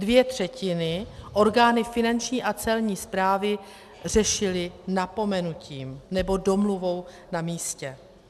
Dvě třetiny orgány Finanční a Celní správy řešily napomenutím nebo domluvou na místě.